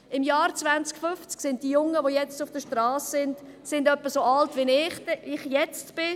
Im Jahr 2050 sind diejenigen, die heute auf der Strasse stehen, etwa so alt wie ich es jetzt bin.